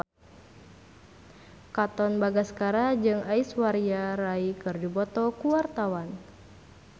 Katon Bagaskara jeung Aishwarya Rai keur dipoto ku wartawan